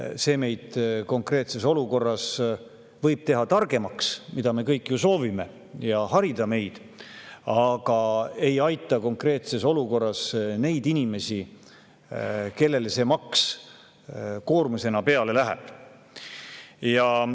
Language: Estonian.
See võib meid konkreetses olukorras teha targemaks, mida me kõik ju soovime, ja meid harida, aga see ei aita konkreetses olukorras neid inimesi, kellele see maks koormusena peale läheb.